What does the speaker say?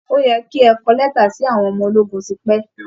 Ó yẹ kí ẹ ti kọ lẹ́tà sí àwọn ọmọ ológun tipẹ́!